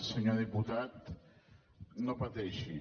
senyor diputat no pateixi